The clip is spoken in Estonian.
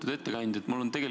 Lugupeetud ettekandja!